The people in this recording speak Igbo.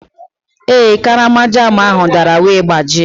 Ee, karama jam ahụ dara wee gbajie.